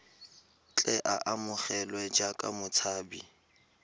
tle a amogelwe jaaka motshabi